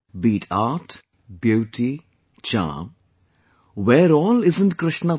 Be it art, beauty, charm, where all isn't Krishna there